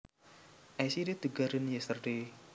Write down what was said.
I seeded the garden yesterday